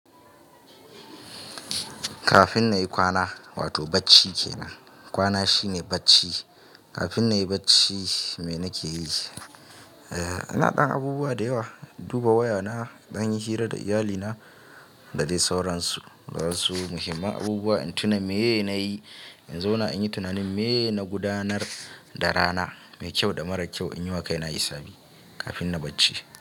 Kafin na yi kwana, wato bacci ke nan. Kwana shine bacci. Kafin na yi bacci, me na ke yi? E, ina ɗan abubuwa da yawa. Duba wayana, dan yi hira da iyalina da dai sauransu. Wa su muhimman abubuwa in tuna me na yi in zauna in yi tunanin me na gudanar da rana mai kyau da mara kyau in yi wa kaina hisabi kafin na bacci.